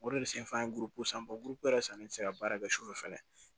O de bɛ senfan ne tɛ se ka baara kɛ sufɛ fɛnɛ